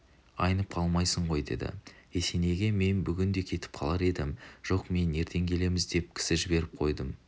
айнып қалмайсың ғой деді есенейге мен бүгін де кетіп қалар едім жоқ мен ертең келеміз деп кісі жіберіп қойдым